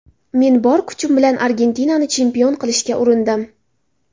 Men bor kuchim bilan Argentinani chempion qilishga urindim.